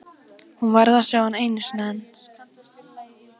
Hún varð að sjá hann einu sinni enn.